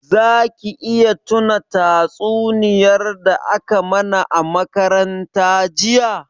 Za ki iya tuna tatsuniyar da a ka mana a makaranta jiya?